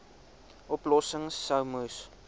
oplossings sou moes